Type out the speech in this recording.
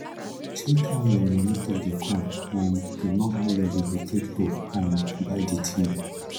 check how your moni take dey come um to know how long e go take to um buy di thing